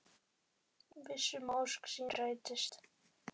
Viss um að ósk sín rætist.